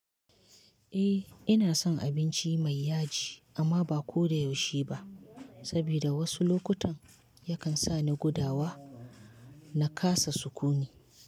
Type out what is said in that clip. Eh ina son abinci mai yaji amma ba ko da yaushe ba, saboda wasu lokutan yakan sa ni gudawa na ƙasa sukuni.